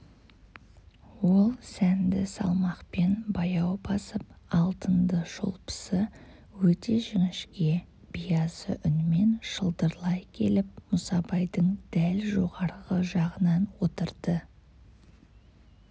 ол сәнді салмақпен баяу басып алтынды шолпысы өте жіңішке биязы үнмен шылдырлай келіп мұсабайдың дәл жоғарғы жағынан отырды